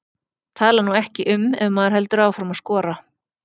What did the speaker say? Tala nú ekki um ef maður heldur áfram að skora.